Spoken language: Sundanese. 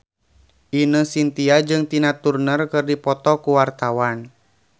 Ine Shintya jeung Tina Turner keur dipoto ku wartawan